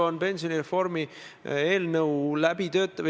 Iga ministeerium teeb seda ikka ise ja nende käekiri on erinev.